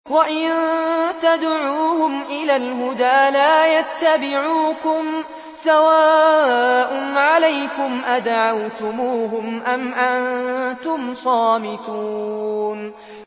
وَإِن تَدْعُوهُمْ إِلَى الْهُدَىٰ لَا يَتَّبِعُوكُمْ ۚ سَوَاءٌ عَلَيْكُمْ أَدَعَوْتُمُوهُمْ أَمْ أَنتُمْ صَامِتُونَ